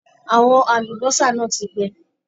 Àwọn àlùbọ́sà náà ti gbẹ.